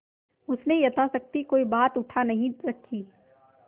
उसने यथाशक्ति कोई बात उठा नहीं रखी